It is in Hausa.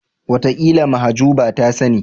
Wataƙila Mahjuba ta sani.